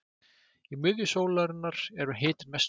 í miðju sólarinnar er hitinn mestur